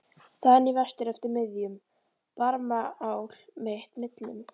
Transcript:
. þaðan í vestur eftir miðjum Barmaál mitt millum?